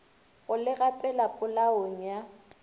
go le gapela polaong ya